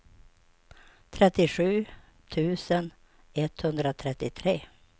trettiosju tusen etthundratrettiotre